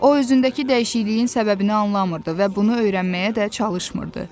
O, özündəki dəyişikliyin səbəbini anlamırdı və bunu öyrənməyə də çalışmırdı.